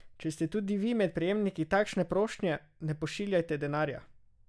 Če ste tudi vi med prejemniki takšne prošnje, ne pošiljajte denarja!